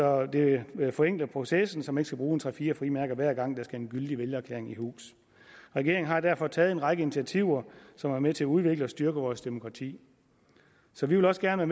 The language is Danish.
og det forenkler processen så man ikke skal bruge tre fire frimærker hver gang der skal en gyldig vælgererklæring i hus regeringen har derfor taget en række initiativer som er med til at udvikle og styrke vores demokrati så vi vil også gerne